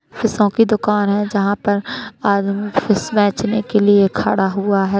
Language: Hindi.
फीसों की दुकान है जहां पर आदमी फिश बेचने के लिए खड़ा हुआ है।